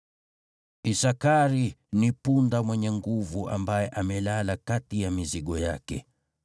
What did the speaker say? “Isakari ni punda mwenye nguvu ambaye amelala kati ya mizigo yake.